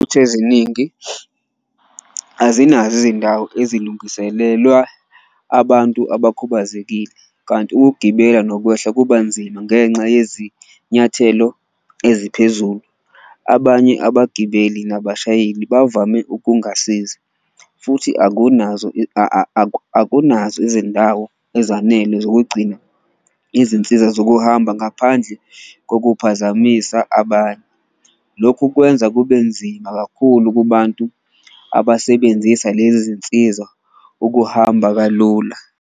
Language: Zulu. Eziningi azinazo izindawo abantu abakhubazekile kanti ukugibela nokwehla kuba nzima ngenxa yezinyathelo eziphezulu, abanye abagibeli nabashayeli bavame ukungasizi futhi akunazo akunazo izindawo ezanele zokugcina izinsiza zokuhamba, ngaphandle kokuphazamisa abanye. Lokhu kwenza kube nzima kakhulu kubantu abasebenzisa lezi zinsiza ukuhamba kalula.